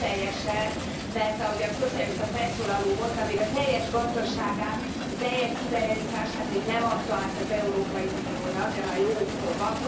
Még nem teljesen, mert ahogy a szocialista felszólaló mondta a teljes gazdaságát, a teljes szuverenitását még nem adta át az Európai Uniónak, de már jó úton van.